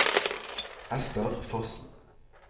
Esther Fossen